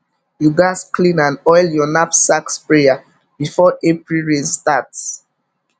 you gats clean and oil your knapsack sprayer before april rain start